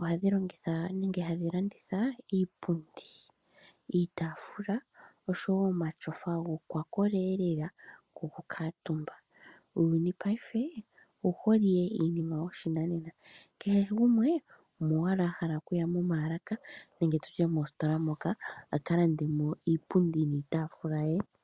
ohadhi longitha nenge hadhi landitha iipundi, iitaafula nosho wo omatyofa gokwakola lela gokukuutumba. Uuyuni paife owu hole iinima yoshinanena. Kehe gumwe omo owala a hala okuya momaalaka nenge mositola moka a ka lande mo iipundi niitaafula ye.